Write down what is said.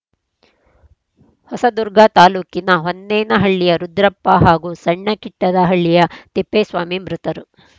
ಹೊಸದುರ್ಗ ತಾಲೂಕಿನ ಹೊನ್ನೇನಹಳ್ಳಿಯ ರುದ್ರಪ್ಪ ಹಾಗೂ ಸಣ್ಣಕಿಟ್ಟದಹಳ್ಳಿಯ ತಿಪ್ಪೇಸ್ವಾಮಿ ಮೃತರು